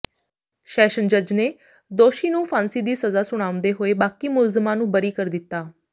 session ਜੱਜ ਨੇ ਦੋਸ਼ੀ ਨੂੰ ਫਾਸਾਂਦੀ ਸਜ਼ਾ ਸੁਣਾਉਂਦੇ ਹੋਏ ਬਾਕੀ ਮੁਲਜ਼ਮਾਂ ਨੂੰ ਬਰੀ ਕਰ ਦਿੱਤਾ